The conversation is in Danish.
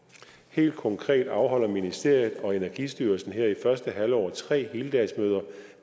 helt konkret afholder ministeriet og energistyrelsen her i første halvår tre heldagsmøder